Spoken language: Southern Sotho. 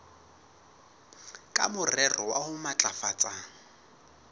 ka morero wa ho matlafatsa